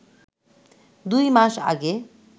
দুই মাস আগে